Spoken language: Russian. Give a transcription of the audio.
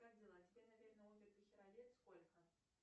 как дела тебе наверно овер дохера лет сколько